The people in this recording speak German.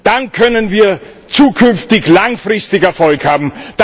Dann können wir zukünftig langfristig Erfolg haben.